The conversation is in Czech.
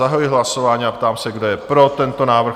Zahajuji hlasování a ptám se, kdo je pro tento návrh?